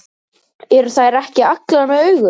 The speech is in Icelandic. Eru þær ekki allar með augu?